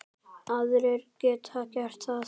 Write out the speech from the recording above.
Aðrir geta gert það.